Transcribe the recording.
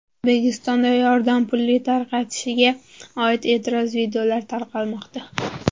O‘zbekistonda yordam puli tarqatilishiga oid e’tirozli videolar tarqalmoqda.